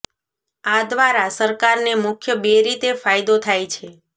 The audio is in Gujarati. આ દ્વારા સરકારને મુખ્ય બે રીતે ફાયદો થાય છે